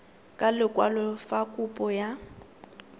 ka lekwalo fa kopo ya